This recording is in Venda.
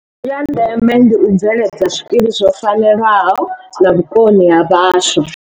Ya ndeme ndi u bve ledza zwikili zwo fanelaho na vhukoni ha vhaswa.